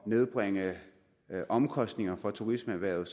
nedbringe omkostningerne for turismeerhvervet